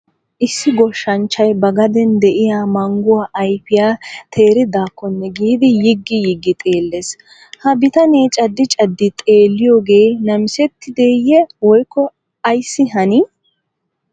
Issi goshshanchchay ba gaden de'iyaa mangguwa ayfiya teeridakkonne giidi yiggi yiggi xeelles. Ha bitanee caddi caddi xeeliyoogee namissettideye woykko ayssi hanii?